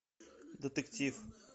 детектив